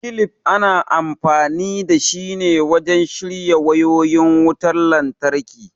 kilif ana amfani dashi ne wajen shirya wayoyin wutan lantraki